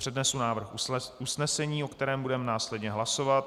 Přednesu návrh usnesení, o kterém budeme následně hlasovat: "